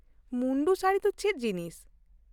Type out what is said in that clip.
ᱢᱩᱱᱰᱩ ᱥᱟᱹᱲᱤ ᱫᱚ ᱪᱮᱫ ᱡᱤᱱᱤᱥ ?